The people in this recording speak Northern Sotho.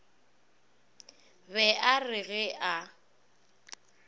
be a re ge a